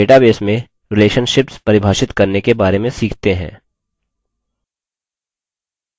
अब database में relationships परिभाषित करने के बारे में सीखते हैं